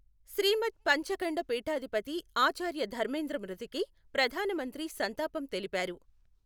శ్రీమద్ పంచఖండ పీఠాధిపతి ఆచార్య ధర్మేంద్ర మృతికి ప్రధానమంత్రి సంతాపం తెలిపారు.